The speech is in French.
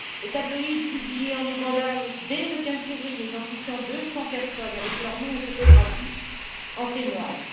Le tabloïd publié en Ouganda dès le 15 février identifiant 200 personnes avec leur nom et photographie en témoigne.